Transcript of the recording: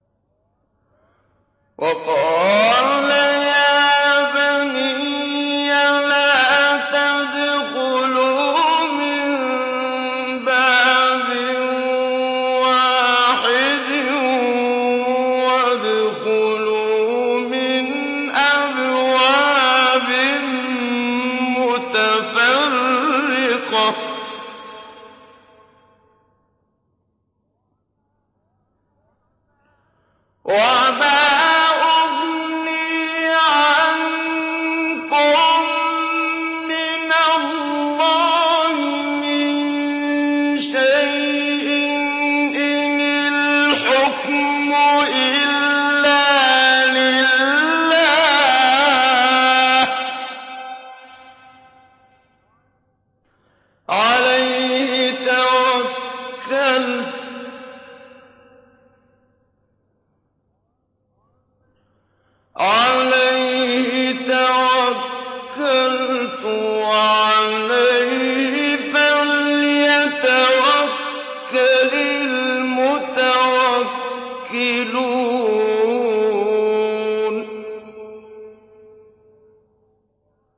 وَقَالَ يَا بَنِيَّ لَا تَدْخُلُوا مِن بَابٍ وَاحِدٍ وَادْخُلُوا مِنْ أَبْوَابٍ مُّتَفَرِّقَةٍ ۖ وَمَا أُغْنِي عَنكُم مِّنَ اللَّهِ مِن شَيْءٍ ۖ إِنِ الْحُكْمُ إِلَّا لِلَّهِ ۖ عَلَيْهِ تَوَكَّلْتُ ۖ وَعَلَيْهِ فَلْيَتَوَكَّلِ الْمُتَوَكِّلُونَ